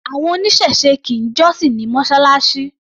Àwọn oníṣẹ̀se kì í jọ́sìn ní Mọ́ṣáláṣí.